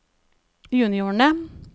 juniorene